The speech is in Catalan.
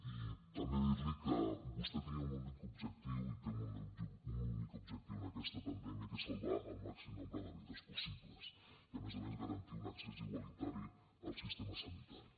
i també dir li que vostè tenia un únic objectiu i té un únic objectiu en aquesta pandèmia que és salvar el màxim nombre de vides possible i a més a més garantir un accés igualitari al sistema sanitari